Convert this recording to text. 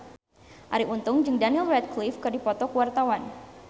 Arie Untung jeung Daniel Radcliffe keur dipoto ku wartawan